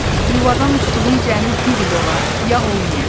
yuvadan uçduğum cəmi bir il ola, ya olmaya.